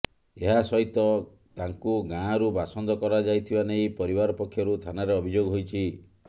ଏହା ସହିତ ତାଙ୍କୁ ଗାାଁରୁ ବାସନ୍ଦ କରାଯାଇଥିବା ନେଇ ପରିବାର ପକ୍ଷରୁ ଥାନାରେ ଅଭିଯୋଗ ହୋଇଛି